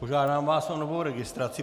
Požádám vás o novou registraci.